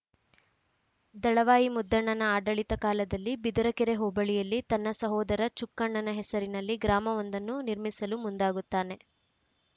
ದಳವಾಯಿ ಮುದ್ದಣ್ಣನ ಆಡಳಿತ ಕಾಲದಲ್ಲಿ ಬಿದರಕೆರೆ ಹೋಬಳಿಯಲ್ಲಿ ತನ್ನ ಸಹೋದರ ಚುಕ್ಕಣ್ಣನ ಹೆಸರಿನಲ್ಲಿ ಗ್ರಾಮವೊಂದನ್ನು ನಿರ್ಮಿಸಲು ಮುಂದಾಗುತ್ತಾನೆ